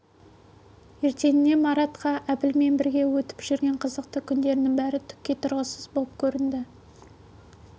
ертеңіне маратқа әбілмен бірге өтіп жүрген қызықты күндерінің бәрі түкке тұрғысыз боп көрінді